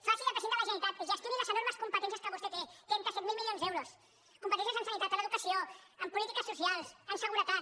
faci de president de la generalitat gestioni les enormes competències que vostè té trenta set mil milions d’euros competències en sanitat en educació en polítiques socials en seguretat